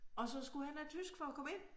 Og så skulle han have tysk for at komme ind